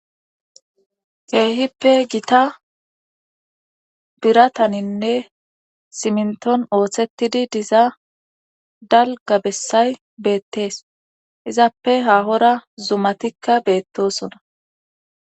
keehippe gita birataninne siminton ooththettidi diza dalga bessay beettees izappe haahora zumatikka beettosona